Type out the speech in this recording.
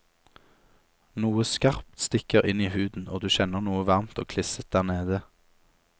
Noe skarpt stikker inn i huden, og du kjenner noe varmt og klisset der nede.